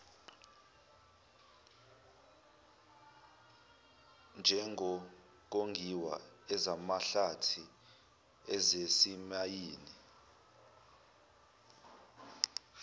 njengokongiwa ezamahlathi ezezimayini